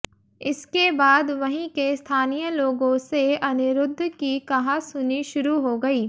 इसके बाद वहीं के स्थानीय लोगों से अनिरुद्ध की कहासुनी शुरू हो गई